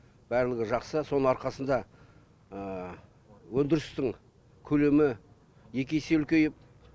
барлығы жақсы соның арқасында өндірістің көлемі екі есе үлкейіп